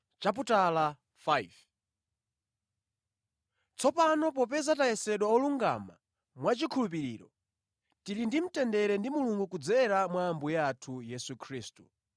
Tsopano popeza tayesedwa olungama mwa chikhulupiriro, tili ndi mtendere ndi Mulungu kudzera mwa Ambuye athu Yesu Khristu.